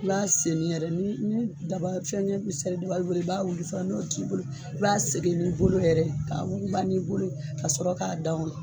I b'a segin yɛrɛ ni ni daba fɛngɛ sari daba b'i da bolo i b'a wuli fɔlɔ n'o t'i bolo i b'a segin n'i bolo yɛrɛ ye, ka wuguba n'i bolo ye ka sɔrɔ ka dan o la.